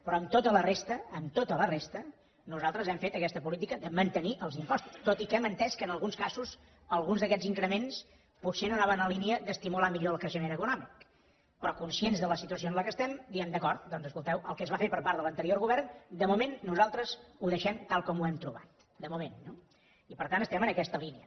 però en tota la resta en tota la resta nosaltres hem fet aquesta política de mantenir els impostos tot i que hem entès que en alguns casos alguns d’aquests increments potser no anaven en la línia d’estimular millor el creixement econòmic però conscients de la situació en què estem diem d’acord doncs escolteu el que es va fer per part de l’anterior govern de moment nosaltres ho deixem tal com ho hem trobat de moment no i per tant estem en aquesta línia